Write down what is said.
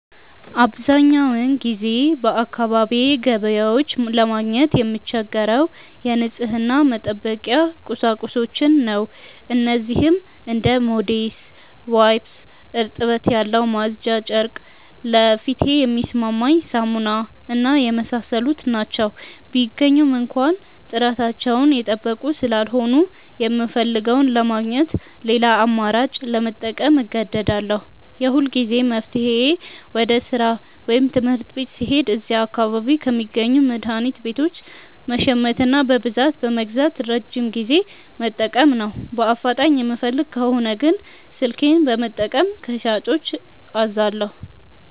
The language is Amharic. አብዛኛውን ጊዜ በአካባቢዬ ገበያዎች ለማግኘት የምቸገረው የንጽህና መጠበቂያ ቁሳቁሶችን ነው። እነዚህም እንደ ሞዴስ፣ ዋይፕስ (እርጥበት ያለው ማጽጃ ጨርቅ)፣ ለፊቴ የሚስማማኝ ሳሙና እና የመሳሰሉት ናቸው። ቢገኙም እንኳ ጥራታቸውን የጠበቁ ስላልሆኑ፣ የምፈልገውን ለማግኘት ሌላ አማራጭ ለመጠቀም እገደዳለሁ። የሁልጊዜም መፍትሄዬ ወደ ሥራ ወይም ትምህርት ቤት ስሄድ እዚያ አካባቢ ከሚገኙ መድኃኒት ቤቶች መሸመትና በብዛት በመግዛት ለረጅም ጊዜ መጠቀም ነው። በአፋጣኝ የምፈልግ ከሆነ ግን ስልኬን በመጠቀም ከሻጮች አዛለሁ።